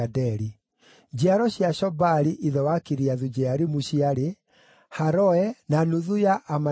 Njiaro cia Shobali, ithe wa Kiriathu-Jearimu, ciarĩ: Haroe, na nuthu ya Amanahathi,